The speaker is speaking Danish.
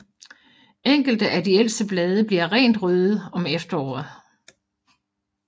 Enkelte af de ældste blade bliver rent røde om efteråret